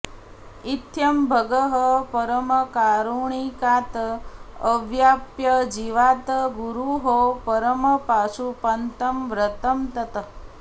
इत्थं भगः परमकारुणिकात् अवाप्य जीवात् गुरोः परमपाशुपतं व्रतं तत्